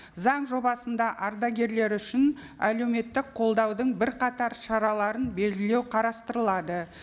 заң жобасында ардагерлер үшін әлеуметтік қолдаудың бірқатар шараларын белгілеу қарастырылады